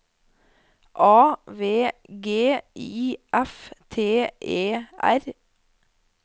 A V G I F T E R